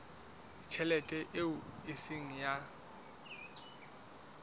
tjhelete eo e seng ya